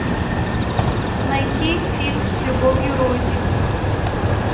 найти фильм с любовью рози